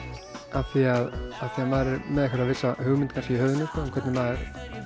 af því að maður er með einhverja vissa hugmynd í höfðinu um hvernig maður